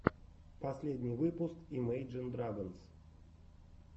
последний выпуск имейджин драгонс